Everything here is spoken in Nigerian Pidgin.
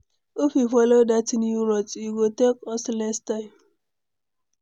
If we follow that new route, e go take us less time.